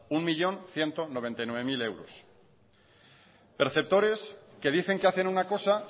un millón ciento noventa y nueve mil euros perceptores que dicen que hacen una cosa